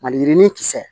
Maliyirinin kisɛ